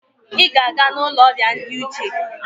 Ị ga-aga n'ụlọ ndị ọrịa uche!